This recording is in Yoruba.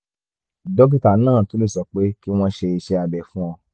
dókítà náà tún lè sọ pé kí wọ́n ṣe iṣẹ́ abẹ fún ọ